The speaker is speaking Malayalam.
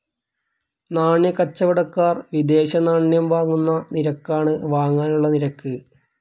നാണ്യക്കച്ചവടക്കാർ വിദേശനാണ്യം വാങ്ങുന്ന നിരക്കാണ് വാങ്ങാനുള്ള നിരക്ക്.